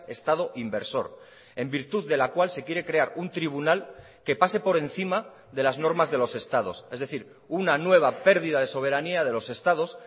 estado inversor en virtud de la cual se quiere crear un tribunal que pase por encima de las normas de los estados es decir una nueva pérdida de soberanía de los estados